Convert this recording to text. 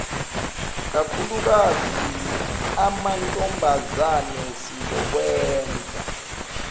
kakhulukazi amantombazane sizokwenza